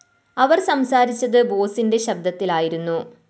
അവര്‍ സംസാരിച്ചത് ബോസിന്റെ ശബ്ദത്തിലായിരുന്നു